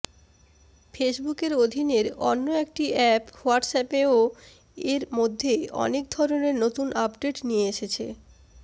ফেসবুকের অধীনের অন্য একটি অ্যাপ হোয়াটসঅ্যাপেও এর মধ্যে অনেক ধরনের নতুন আপডেট নিয়ে এসেছে